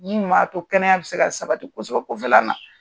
Min m'a to kɛnɛya bɛ se ka sabati kosɛbɛ kofƐla na